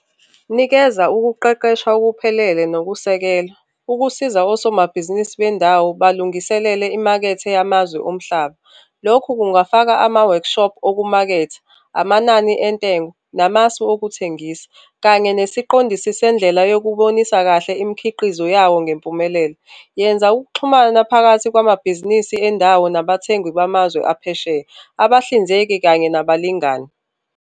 Nikeza ukuqeqeshwa okuphelele nokusekela, ukusiza osomabhizinisi bendawo balungiselele imakethe yamazwe omhlaba. Lokhu kungafaka ama-workshop okumaketha, amanani entengo namasu okuthengisa, kanye nesiqondisi sendlela sokubonisa kahle imikhiqizo yawo ngempumelelo. Yenza ukuxhumana phakathi kwamabhizinisi endawo nabathengi bamazwe aphesheya, abahlinzeki kanye nabalingani.